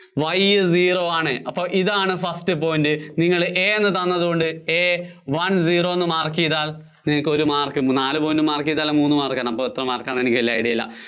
Y zero ആണ്. അപ്പോ ഇതാണ് first point. നിങ്ങള് A എന്ന് തന്നതുകൊണ്ട് A one zero എന്ന് mark ചെയ്താല്‍ നിങ്ങള്‍ക്ക് ഒരു mark, നാല് point mark ചെയ്താല്‍ മൂന്ന് mark ആണ്, അപ്പോ എത്ര mark ആണെന്ന് എനിക്ക് വല്യ idea ഇല്ല.